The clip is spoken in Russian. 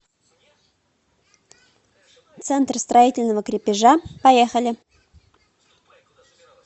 центр строительного крепежа поехали